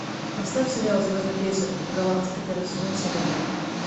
поставь сериал звездный крейсер галактика первый сезон серия пять